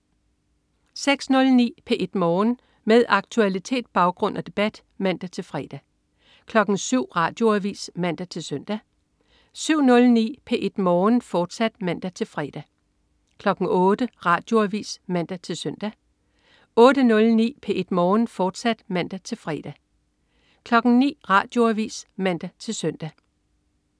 06.09 P1 Morgen. Med aktualitet, baggrund og debat (man-fre) 07.00 Radioavis (man-søn) 07.09 P1 Morgen, fortsat (man-fre) 08.00 Radioavis (man-søn) 08.09 P1 Morgen, fortsat (man-fre) 09.00 Radioavis (man-søn)